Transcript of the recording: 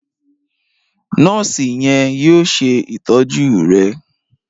Nọọsi yen yóò ṣe ìtọjú rẹ